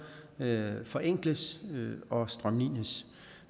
forenkles og strømlines